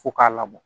Fo k'a labɔ